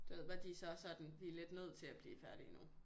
Du ved bare de så sådan de er lidt nødt til at blive færdige nu